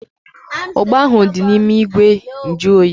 Ugba ahu dị n'ime ìgwè nju oyi